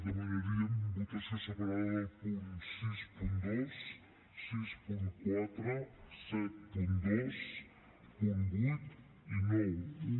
demanaríem votació separada del punt seixanta dos seixanta quatre setanta dos punt vuit i noranta un